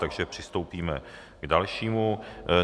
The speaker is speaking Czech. Takže přistoupíme k dalšímu.